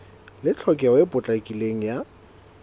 le tlhokeho e potlakileng ya